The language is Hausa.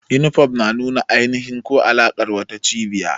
Yunifom na nuna ainihi ko alaƙar wata cibiya.